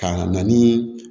Ka na nii